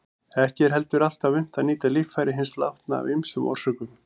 Ekki er heldur alltaf unnt að nýta líffæri hins látna af ýmsum orsökum.